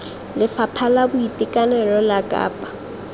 lefapha la boitekanelo la kapa